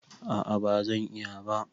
A a bazan iya ba.